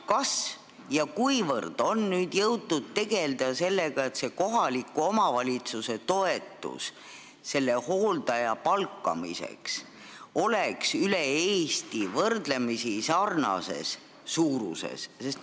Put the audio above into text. Kas ja kuivõrd on jõutud tegelda sellega, et kohaliku omavalitsuse toetus selle hooldaja palkamiseks oleks üle Eesti võrdlemisi sarnase suurusega?